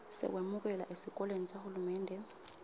sekwemukelwa esikolweni sahulumende